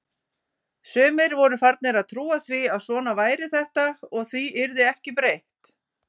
Sumir voru farnir að trúa því að svona væri þetta og því yrði ekki breytt.